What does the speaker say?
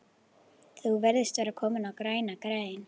Þú virðist vera kominn á græna grein